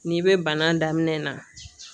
N'i bɛ bana daminɛ na